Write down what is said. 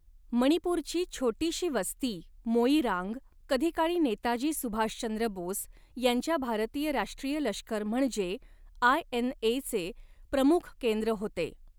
मणिपूरची छोटीशी वस्ती मोईरांग, कधीकाळी नेताजी सुभाषचंद्र बोस यांच्या भारतीय राष्ट्रीय लष्कर म्हणजे आयएनएचे प्रमुख केंद्र होते.